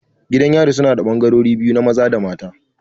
Gidan yarin yana da ɓangarori biyu, na maza dana maza